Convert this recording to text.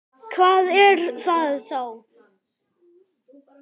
Hvað er það þá?